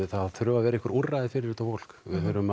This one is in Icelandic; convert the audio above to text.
þurfa að vera einhver úrræði fyrir þetta fólk